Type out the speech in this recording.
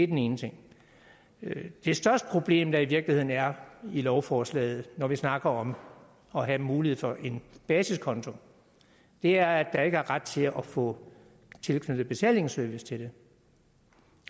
den ene ting det største problem der i virkeligheden er i lovforslaget når vi snakker om at have mulighed for en basiskonto er at der ikke er ret til at få tilknyttet betalingsservice til det